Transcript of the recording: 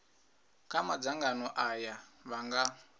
kha madzangano aya vha nga